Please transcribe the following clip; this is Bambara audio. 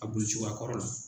A boli cogoya kɔrɔ la.